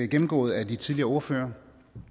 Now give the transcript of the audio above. gennemgået af de tidligere ordførere